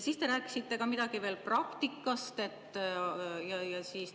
Siis te rääkisite midagi veel praktikast.